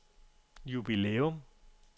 jubilæum